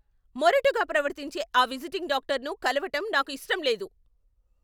మొరటుగా ప్రవర్తించే ఆ విజిటింగ్ డాక్టర్ను కలవటం నాకు ఇష్టం లేదు.